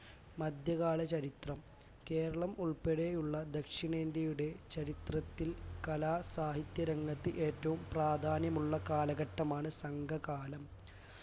മധ്യകാല ചരിത്രം കേരളം ഉൾപ്പടെയുള്ള ദക്ഷിണേന്ത്യയുടെ ചരിത്രത്തിൽ കലാ സാഹിത്യ രംഗത്ത് ഏറ്റവും പ്രാധാന്യമുള്ള കാലഘട്ടമാണ് സംഘകാലം